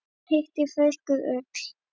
Þurr hiti feyskir ull.